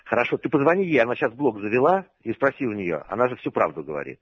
хорошо ты позвони ей она сейчас блок завела и спроси у нее она же всю правду говорит